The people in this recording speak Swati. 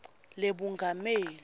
lebungameli